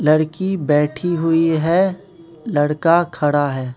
लड़की बैठी हुई है लड़का खड़ा है।